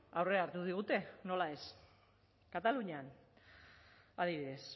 aurrea hartu digute nola ez katalunian adibidez